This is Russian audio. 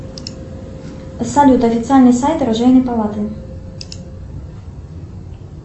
салют официальный сайт оружейной палаты